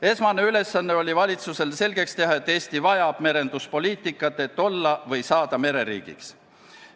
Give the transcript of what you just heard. Esmane ülesanne oli valitsusele selgeks teha, et Eesti vajab merenduspoliitikat, et olla või saada mereriigiks.